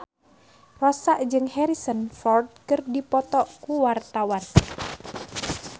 Rossa jeung Harrison Ford keur dipoto ku wartawan